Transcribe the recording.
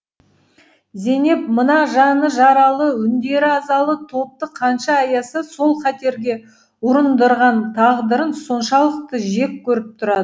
зейнеп мына жаны жаралы үндері азалы топты қанша аяса сол қатерге ұрындырған тағдырын соншалықты жек көріп тұрады